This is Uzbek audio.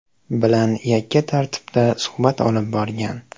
bilan yakka tartibda suhbat olib borgan.